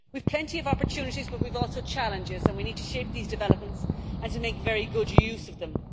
We have plenty of opportunities but we also have challenges, and we need to shape these developments and to make very good use of them.